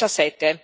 2017.